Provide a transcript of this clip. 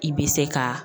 I bɛ se ka